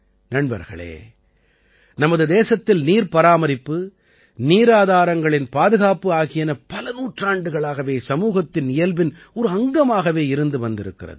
நண்பர்களே நமது தேசத்தில் நீர்ப் பராமரிப்பு நீராதாரங்களின் பாதுகாப்பு ஆகியன பல நூற்றாண்டுகளாகவே சமூகத்தின் இயல்பின் ஒரு அங்கமாகவே இருந்து வந்திருக்கிறது